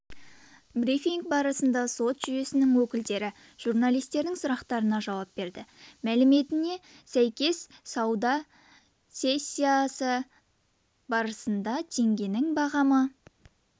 брифинг барысында сот жүйесінің өкілдері журналистердің сұрақтарына жауап берді мәліметіне сәйкес сауда сессиясы барысында теңгенің бағамы